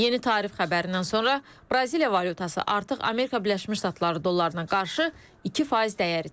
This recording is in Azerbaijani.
Yeni tarif xəbərindən sonra Braziliya valyutası artıq Amerika Birləşmiş Ştatları dollarına qarşı 2% dəyər itirib.